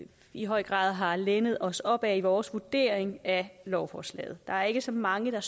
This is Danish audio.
i høj grad har lænet os op ad i vores vurdering af lovforslaget der er ikke så mange der